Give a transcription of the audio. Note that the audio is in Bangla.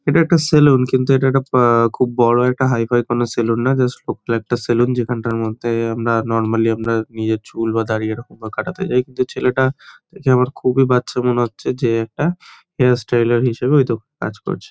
এটা একটা সেলুন | কিন্তু এটা একটা বা আহ খুব বড় একটা হাইফাই কোনো সেলুন না জাস্ট ছোট্ট একটা সেলুন | যেখানটার মধ্যে আমরা নরমালি আমরা নিজের চুল বা দাড়ি এরকমকরে কাটাতে যায় তো ছেলেটা দেখে আমার খুবই বাচ্চা মনে হচ্ছে | যে একটা হেয়ার স্টাইলার হিসেবে ওইতো কাজ করছে।